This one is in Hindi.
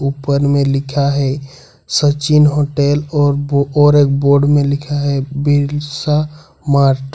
ऊपर में लिखा है सचिन होटल और एक बोर्ड में लिखा है बिरसा मार्ट --